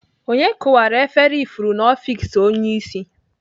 Onye kụwara efere ifuru n'ọfiks onye isi?